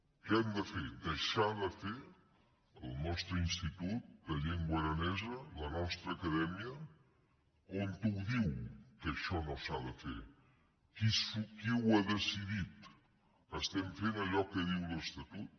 què hem de fer deixar de fer el nostre institut de llengua aranesa la nostra acadèmia on ho diu que això no s’ha de fer qui ho ha decidit estem fent allò que diu l’estatut